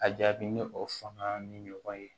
A jaabi ni o fanga ni ɲɔgɔn ye